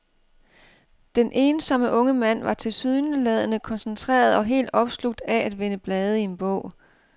Den ensomme unge mand var tilsyneladende koncentreret og helt opslugt af at vende blade i en bog.